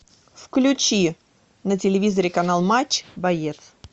включи на телевизоре канал матч боец